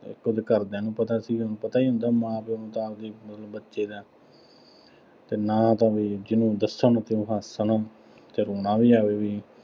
ਇੱਕ ਉਹਦੇ ਘਰਦਿਆਂ ਨੂੰ ਪਤਾ ਸੀ। ਹੁਣ ਪਤਾ ਹੀ ਹੁੰਦੇ ਮਾਂ-ਪਿਉ ਨੂੰ ਤਾਂ ਆਪਦੇ ਬੱਚੇ ਦਾ ਅਤੇ ਨਾ ਤਾਂ ਉਹ ਜਿਹਨੂੰ ਦੱਸਣ ਅਤੇ ਉਹ ਹੱਸਣ ਅਤੇ ਰੌਣਾ ਵੀ ਆਵੇ ਬਈ।